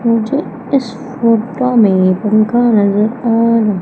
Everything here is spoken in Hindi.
मुझे इस फोटो में पंखा नजर आ र--